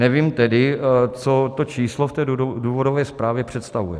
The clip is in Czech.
Nevím tedy, co to číslo v té důvodové zprávě představuje.